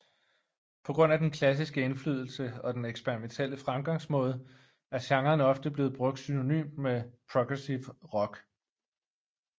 På grund af den klassiske indflydelse og den eksperimentielle fremgangsmåde er genren ofte blevet brugt synonymt med progressive rock